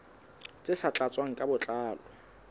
tse sa tlatswang ka botlalo